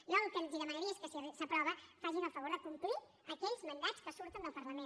jo el que els demanaria és que si s’aprova facin el favor de complir aquells mandats que surten del parlament